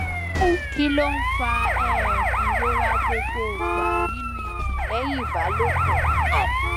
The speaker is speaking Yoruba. kí ló ń fa um ìrora gbogbogba nínú ikún lẹyìn ìbálòpọ